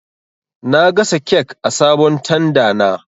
Na gasa kek a sabon tanda na